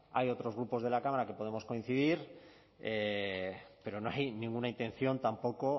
hay otros grupos de la cámara que podemos coincidir pero no hay ninguna intención tampoco